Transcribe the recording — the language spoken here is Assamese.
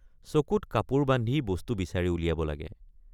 চকুত কাপোৰ বান্ধি বস্তু বিচাৰি উলিয়াব লাগে।